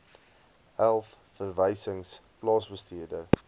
elf verwysings plaasbestuur